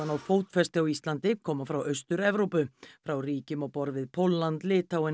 náð fótfestu á Íslandi koma frá Austur Evrópu frá ríkjum á borð við Pólland